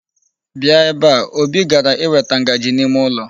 Bia ebe a! Obi gara iweta ngaji n'ime ụlọ.